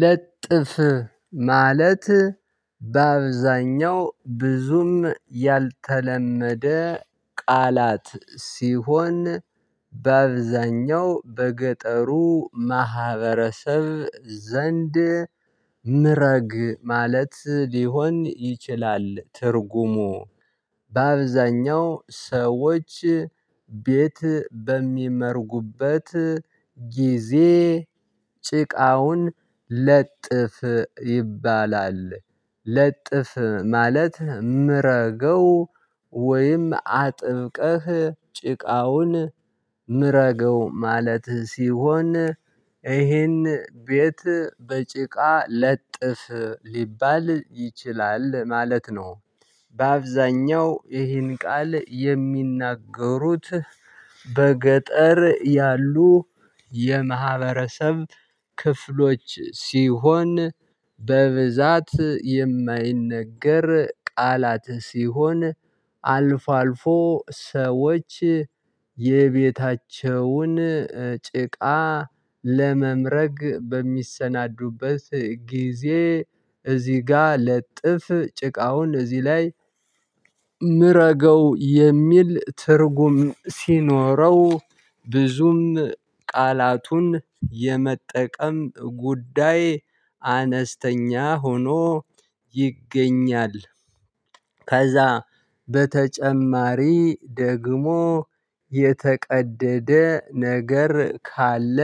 ለጥፍ ማለት በአብዛኛው ብዙም ያልተለመደ ቃላት ሲሆን በአብዛኛው በገጠሩ ማህበረሰብ ዘንድ ምረግ ማለት ሊሆን ይችላል። ትርጉሙ በአብዛኛው ሰዎች ቤት በሚመርጉበት ጊዜ ጭቃውን ለጥፍ ይባላል። ለጥፍ ማለት ምረገው ወይም አጥብቀህ ጭቃውን ምረገው ማለት ሲሆን ይሄን ቤት በጭቃ ለጥፍ ሊባል ይችላል ማለት ነው። በአብዛኛው ይህን ቃል የሚናገሩት በገጠር ያሉ የማህበረሰብ ክፍሎች ሲሆን በብዛት የማይነገር ቃላት ሲሆን። አልፎ አልፎ ሰዎች የቤታቸውን ጭቃ ለመምረግ በሚሰናዱበት ጊዜ እዚህ ጋር ለጥፍ ጭቃውን እዚህ ላይ ምረገው የሚል ትርጉም ሲኖረው ብዙም ቃላቱን የመጠቀም ጉዳይ አነስተኛ ሆኖ ይገኛል። ከዛ በተጨማሪ ደግሞ የተቀደደ ነገር ካለ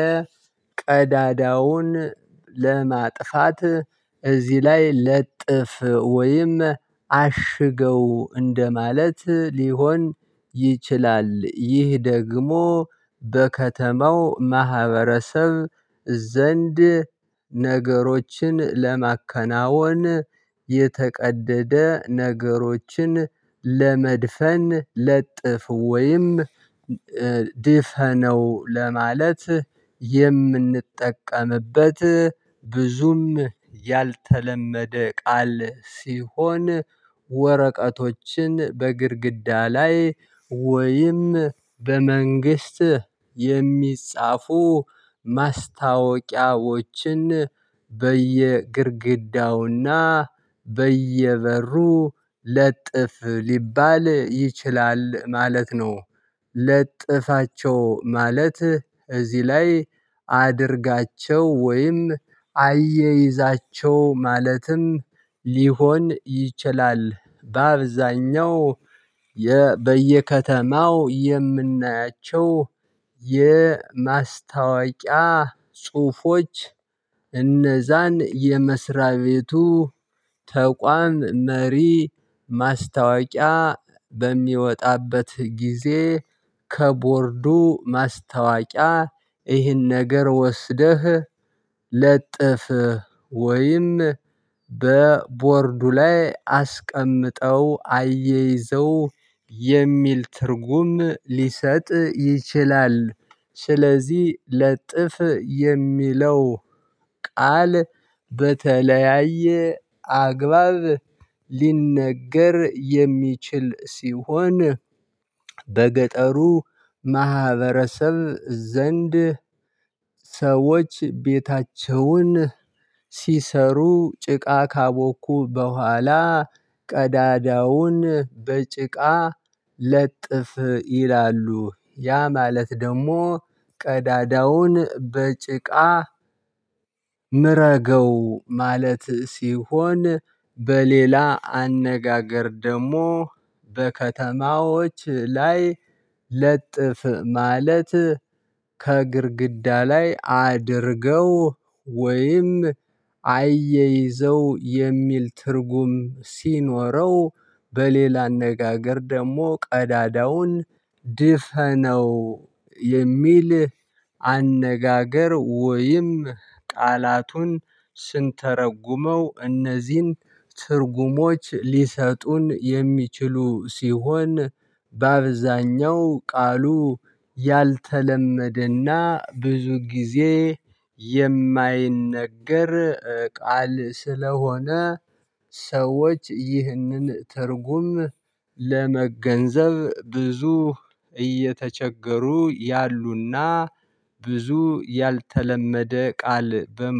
ቀዳዳውን ለማጥፋት እዚህ ላይ ለጥፍ ወይም አሽገው እንደማለት ሊሆን ይችላል። ይህ ደግሞ በከተማው ማህበረሰብ ዘንድ ነገሮችን ለማከናወን የተቀደደ ነገሮችን ለመድፈን ለጥፍ ወይም ድፈነው ለማለት የምንጠቀምበት ብዙም ያልተለመደ ቃል ሲሆን። ወረቀቶችን በግድግዳ ላይ ወይም በመንግስት የሚጻፉ ማስታወቂያዎችን በየግድግዳውና በየበሩ ለጥፍ ሊባል ይችላል ማለት ነው። ለጥፋቸው ማለት እዚህ ላይ አድርጋቸው ወይም አያይዛቸው ማለትም ሊሆን ይችላል። በአብዛኛው በየከተማው የምናያቸው የማስታወቂያ ጽሁፎች እነዛን የመስሪያ ቤቱ ተቋም መሪ ማስታወቂያ በሚወጣበት ጊዜ ከቦርዱ ማስታወቂያ ይህን ነገር ወስደህ ለጥፍ ወይም በቦርዱ ላይ አስቀምጠው አያይዘው የሚል ትርጉም ሊሰጥ ይችላል። ስለዚህ ለጥፍ የሚለው ቃል በተለያየ አግባብ ሊነገር የሚችል ሲሆን በገጠሩ ማህበረሰብ ዘንድ ሰዎች ቤታቸውን ሲሰሩ ጭቃ ካቦኩ በኋላ ቀዳዳውን በጭቃ ለጥፍ ይላሉ ያ ማለት ደግሞ ቀዳዳውን በጭቃ ምረገው ማለት ሲሆን። በሌላ አነጋገር ደግሞ በከተማዎች ላይ ለጥፍ ማለት ከግድግዳ ላይ አድርገው ወይም አያይዘው የሚል ትርጉም ሲኖረው። በሌላ አነጋገር ደግሞ ቀዳዳውን ድፈነው የሚል አነጋገር ወይም ቃላቱን ስንተረጉመው እነዚህን ትርጉሞች ሊሰጡን የሚችሉ ሲሆን። በአብዛኛው ቃሉ ያልተለመደና ብዙ ጊዜ የማይነገር ቃል ስለሆነ ሰዎች ይህንን ትርጉም ለመገንዘብ ብዙ እየተቸገሩ ያሉና ብዙ ያልተለመደ ቃል በመሆኑ